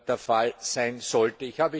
der Fall sein sollte.